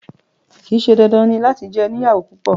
Kìí ṣe dandan ní láti jẹ oniyawo púpọ